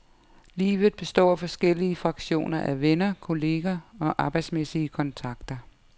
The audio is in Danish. Livet består af forskellige fraktioner af venner, kolleger og arbejdsmæssige kontakter.